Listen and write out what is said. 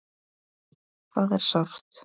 Það er sárt.